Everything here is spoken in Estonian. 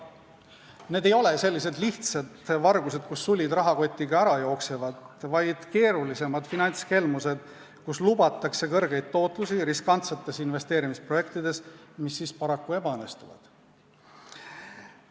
Need ei ole sellised lihtsad vargused, kus sulid rahakotiga ära jooksevad, vaid keerulisemad finantskelmused, mille korral lubatakse suurt tootlust riskantsetes investeerimisprojektides, mis paraku ebaõnnestuvad.